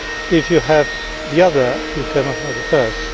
If you have the other, you cannot have the first.